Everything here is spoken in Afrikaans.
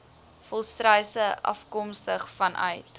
volstruise afkomstig vanuit